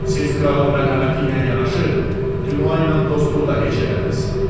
Siz kralın mərhəməti ilə yanaşı, Dinva ilə dostluğu da heç elədiz.